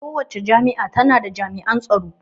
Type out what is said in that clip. Kowacce jami'a ta na da jami'an tsaro